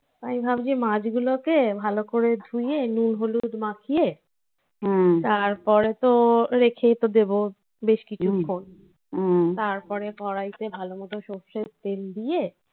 আমি ভাবছি মাছ গুলোকে ভালো করে ধুয়ে নুন, হলুদ মাখিয়ে তারপরে তো রেখেই তো দেবো. বেশ কিছুক্ষণ. হুম. তারপরে পড়াইতে ভালোমতো সর্ষের তেল দিয়ে